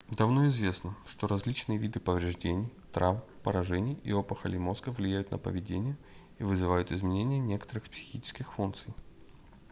давно известно что различные виды повреждений травм поражений и опухолей мозга влияют на поведение и вызывают изменения некоторых психических функций